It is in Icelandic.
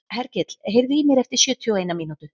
Hergill, heyrðu í mér eftir sjötíu og eina mínútur.